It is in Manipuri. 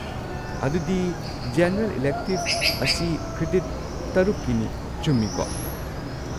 ꯑꯗꯨꯗꯤ ꯖꯦꯅꯔꯦꯜ ꯏꯂꯦꯛꯇꯤꯕ ꯑꯁꯤ ꯀ꯭ꯔꯦꯗꯤꯠ ꯇꯔꯨꯛꯀꯤꯅꯤ, ꯆꯨꯝꯃꯤꯀꯣ?